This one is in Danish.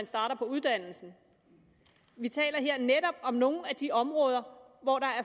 starter på uddannelsen vi taler her netop om nogle af de områder hvor der er